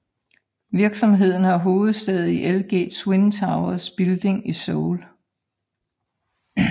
Virksomheden har hovedsæde i LG Twin Towers building i Seoul